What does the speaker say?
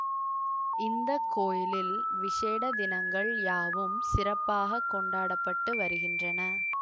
இந்த கோயிலில் விசேட தினங்கள் யாவும் சிறப்பாக கொண்டாட பட்டு வருகின்றன